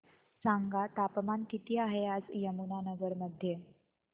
सांगा तापमान किती आहे आज यमुनानगर मध्ये